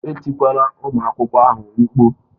Etikwala ụmụ akwụkwọ ahụ mkpu!